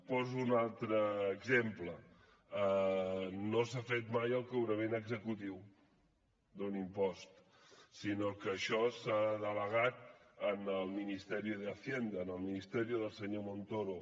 poso un altre exemple no s’ha fet mai el cobrament executiu d’un impost sinó que això s’ha delegat en el ministerio de hacienda en el ministerio del senyor montoro